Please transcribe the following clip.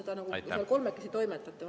Või kuidas te seal kolmekesi toimetate?